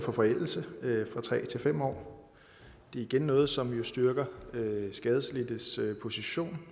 for forældelse fra tre til fem år det er igen noget som styrker skadelidtes position